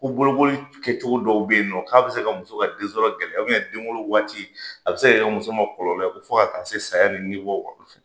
Ko bolokoli kɛcogo dɔw bɛ yen nɔ k'a bɛ se ka muso ka den sɔrɔ gɛlɛya. den wolo waati a bɛ se ka kɛ muso ma kɔlɔlɔ ye ko fo ka taa se saya ni ni bɔ ma.